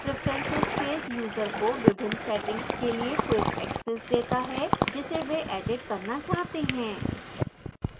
preferences page user को विभिन्न settings के लिए quick access देता है जिसे वे edit करना चाहते हैं